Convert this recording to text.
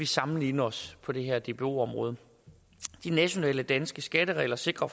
sammenligne os på det her dbo område de nationale danske skatteregler sikrer